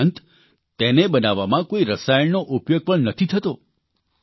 આ ઉપરાંત તેને બનાવવામાં કોઇ રસાયણનો ઉપયોગ પણ નથી થતો